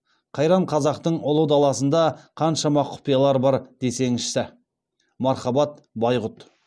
қайран қазақтың ұлы даласында қаншама құпиялар бар десеңізші мархабат байғұт